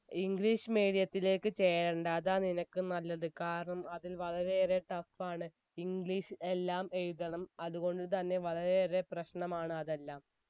english medium ത്തിലേക്ക് ചേരണ്ട അതാ നിനക്ക് നല്ലത് കാരണം അതിൽ വളരെയേറെ tough ആണ് english എല്ലാം എഴുതണം അതുകൊണ്ടു തന്നെ വളരെയേറെ പ്രശ്നമാണ് അതെല്ലാം